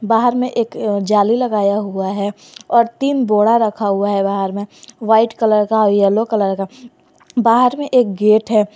बाहर में एक जाली लगाया हुआ है और तीन बोड़ा रखा हुआ है बाहर में वाइट कलर का येलो कलर का बाहर में एक गेट है।